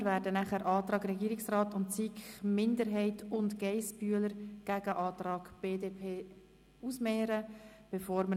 Wir werden anschliessend die Anträge des Regierungsrats, der SiKMinderheit und von Grossrätin Geissbühler-Strupler dem Antrag der BDP gegenüberstellen.